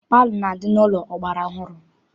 Palọ na-adị n'ụlọ ọgbara ọhụrụ.